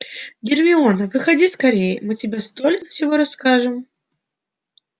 гермиона выходи скорее мы тебе столько всего расскажем